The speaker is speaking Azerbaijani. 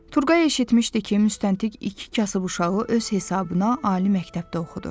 Turğay eşitmişdi ki, müstəntiq iki kasıb uşağı öz hesabına ali məktəbdə oxudur.